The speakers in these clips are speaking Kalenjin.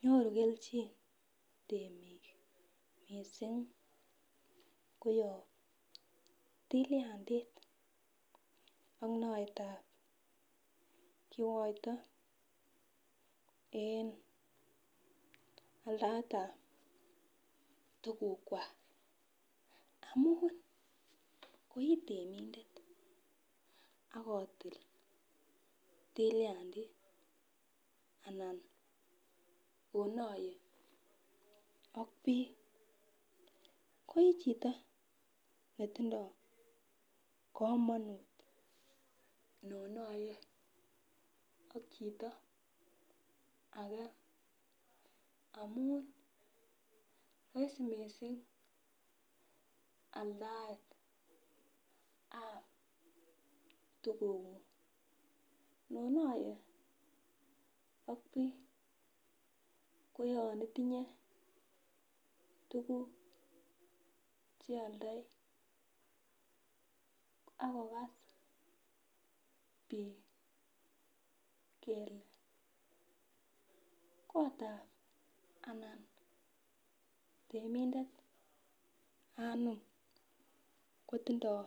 Nyoru kelchin temik missing koyob tilyandit ak noyetab kiwoto en aldaetab tugukwak amun koitemindet akotil tilyandit anan onoye ak biik koi chito netindoo kamonut ndonyee ak chito ake amun rahisi missing aldaetab tugukuk inonoye ak biik koyon itinye tuguk chealdoi akokas biik kele kotab anan temindet anom kotindoo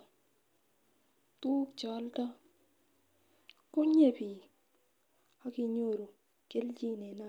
tuguk chealdo konyee biik akinyoru kelchin en alyet.